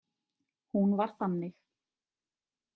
Hún var þannig.